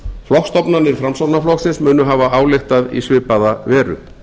flokksstofnanir framsóknarflokksins munu hafa ályktað í svipaða veru